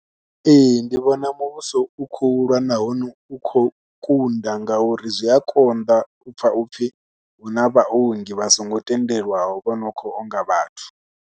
Ee ndi vhona muvhuso u khou lwa nahone u khou kunda ngauri zwi a konḓa u pfha u pfhi hu na vhaongi vha songo tendelwaho vha no khou onga vhathu.